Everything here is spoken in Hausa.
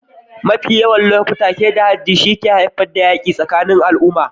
Mafi yawan lokuta, keta haddi shi ke haifar da yaƙi tsakanin al'umma.